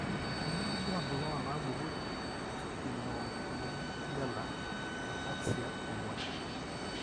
Kainyio irbulabul onaapuku eSpinocerebellar eataxia ong'uan?